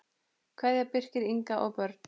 Kveðja, Birkir, Inga og börn.